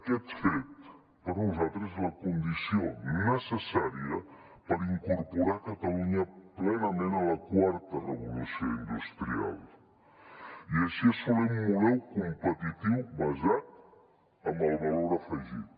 aquest fet per nosaltres és la condició necessària per incorporar catalunya plenament a la quarta revolució industrial i així assolir un model competitiu basat en el valor afegit